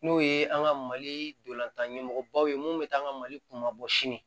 N'o ye an ka mali dolantanɲɛmɔgɔbaw ye mun bɛ taa an ka mali kunbabɔ sini